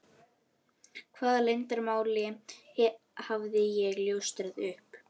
Hvaða leyndarmáli hafði ég ljóstrað upp?